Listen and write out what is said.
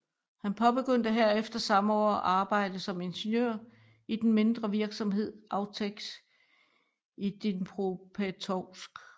Han påbegyndte herefter samme år arbejde som ingeniør i den mindre virksomhed Avteks i Dnipropetrovsk